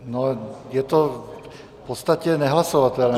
No, je to v podstatě nehlasovatelné.